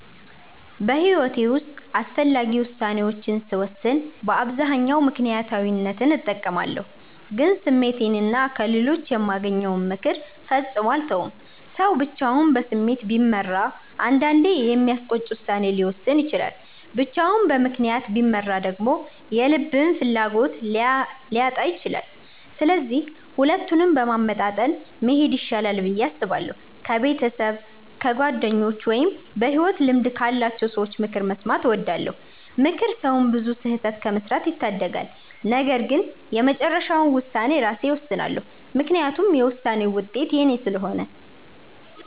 በሕይወቴ ውስጥ አስፈላጊ ውሳኔዎችን ስወስን በአብዛኛው ምክንያታዊነትን እጠቀማለሁ፣ ግን ስሜቴንና ከሌሎች የማገኘውን ምክር ፈጽሞ አልተውም። ሰው ብቻውን በስሜት ቢመራ አንዳንዴ የሚያስቆጭ ውሳኔ ሊወስን ይችላል፤ ብቻውን በምክንያት ቢመራ ደግሞ የልብን ፍላጎት ሊያጣ ይችላል። ስለዚህ ሁለቱንም በማመጣጠን መሄድ ይሻላል ብዬ አስባለሁ። ከቤተሰብ፣ ከጓደኞች ወይም በሕይወት ልምድ ካላቸው ሰዎች ምክር መስማትን እወዳለሁ። ምክር ሰውን ብዙ ስህተት ከመስራት ይታደጋል። ነገር ግን የመጨረሻውን ውሳኔ ራሴ እወስናለሁ፤ ምክንያቱም የውሳኔውን ውጤት የኔ ስለሆነ።